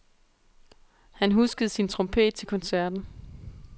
Han huskede sin trompet til koncerten.